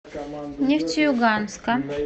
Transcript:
нефтеюганска